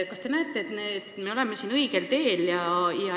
Kas te arvate, et me oleme õigel teel?